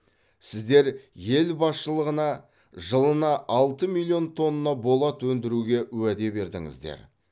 сіздер ел басшылығына жылына алты миллион тонна болат өндіруге уәде бердіңіздер